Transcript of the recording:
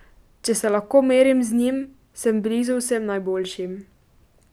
Če se lahko merim z njim, sem blizu vsem najboljšim.